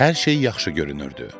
Hər şey yaxşı görünürdü.